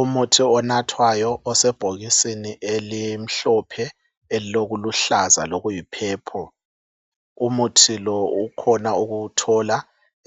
umuthi onathwayo osebhokisini elimhlophe elilokuluhlaza lokuyi purple umuthi lo ukhona ukuwuthola